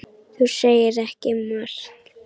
Þú segir ekki margt.